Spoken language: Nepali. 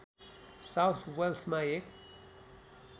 साउथ वेल्समा एक